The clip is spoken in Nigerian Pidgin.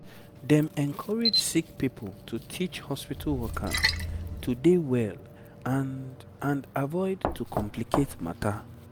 dem encourage sick pipo to teach hospitu workers to dey well and and avoid to complicate matter